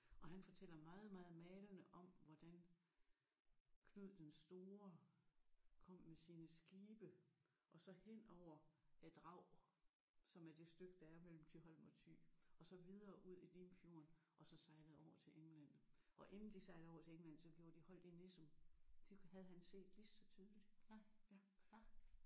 Og han fortæller meget meget malende om hvordan Knud den Store kom med sine skibe og så hen over Draget som er det stykke der er mellem Thyholm og Thy og så videre ud i Limfjorden og så sejlede over til England. Og inden de sejlede over til England så gjorde de holdt i Nissum. De havde han set lige så tydeligt